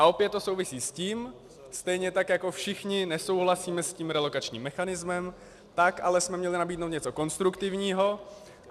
A opět to souvisí s tím, stejně tak jako všichni nesouhlasíme s tím relokačním mechanismem, tak ale jsme měli nabídnout něco konstruktivního.